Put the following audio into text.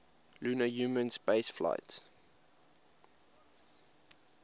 lunar human spaceflights